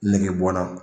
Nege bɔnna